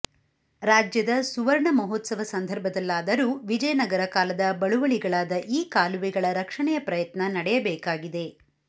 ರಾಜ್ಯದ ಸುವರ್ಣ ಮಹೋತ್ಸವ ಸಂದರ್ಭದಲ್ಲಾದರೂ ವಿಜಯನಗರ ಕಾಲದ ಬಳುವಳಿಗಳಾದ ಈ ಕಾಲುವೆಗಳ ರಕ್ಷಣೆಯ ಪ್ರಯತ್ನ ನಡೆಯಬೇಕಾಗಿದೆ